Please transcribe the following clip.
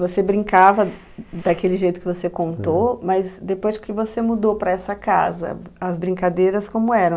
Você brincava daquele jeito que você contou, mas depois que você mudou para essa casa, as brincadeiras como eram?